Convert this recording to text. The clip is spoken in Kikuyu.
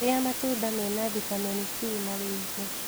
Rĩa matunda mena vitamini c na wĩĩngĩ